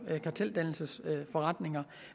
karteldannelsesforretninger